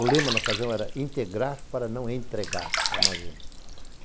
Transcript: O lema na ocasião era integrar para não entregar a Amazônia.